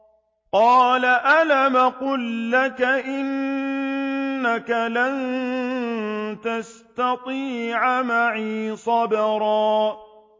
۞ قَالَ أَلَمْ أَقُل لَّكَ إِنَّكَ لَن تَسْتَطِيعَ مَعِيَ صَبْرًا